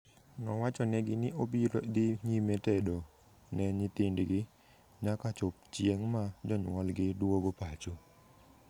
Nowachonegi ni obiro dhi nyime tedo ne nyithindgi nyaka chop chieng' ma jonyuolgi duogo pacho.